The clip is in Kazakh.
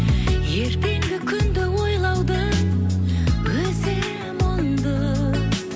ертеңгі күнді ойлаудың өзі мұңды